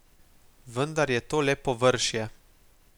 Vendar je to le površje.